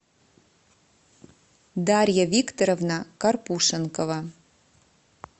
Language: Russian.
дарья викторовна карпушенкова